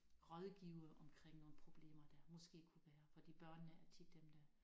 Rådgive omkring nogle problemer der måske kunne være fordi børnene er tit dem der